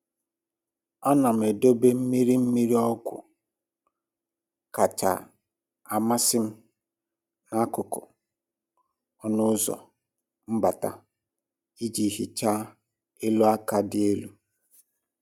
a na m edobe mmiri mmiri ọgwụ kacha amasị m n'akụkụ ọnụ ụzọ mbata iji hichaa elu aka dị elu.